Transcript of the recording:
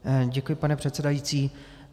Děkuji, pane předsedající.